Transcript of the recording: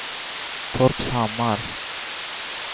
Torpshammar